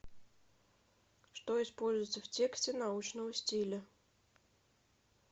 что используются в тексте научного стиля